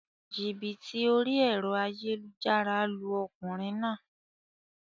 Jìbìtì orí èro ayélujára lu okùnrin naa